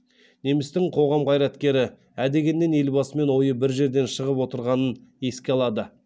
немістің қоғам қайраткері ә дегеннен елбасымен ойы бір жерден шығып отырғанын еске алады